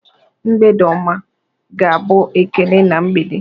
"Mgbede ọma!" ga-abụ ekele na mgbede.